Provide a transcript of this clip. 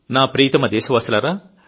నా ప్రియతమ దేశవాసులారా